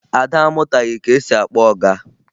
Ada amụtaghị ka esi akpọ ọga